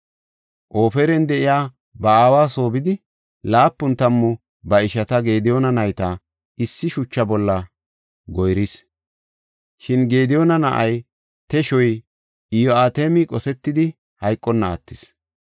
Ofran de7iya ba aawa soo bidi, laapun tammu ba ishata Gediyoona nayta, issi shucha bolla goyris. Shin Gediyoona na7ay, teshoy, Iyo7atami qosetidi hayqonna attis.